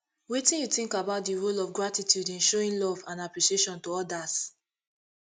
wetin you think about di role of gratitude in showing love and appreciation for odas